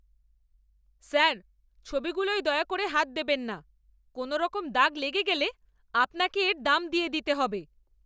Sir, ছবিগুলোয় দয়া করে হাত দেবেন না! কোনওরকম দাগ লেগে গেলে আপনাকে এর দাম দিয়ে দিতে হবে।